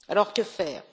Alors, que faire?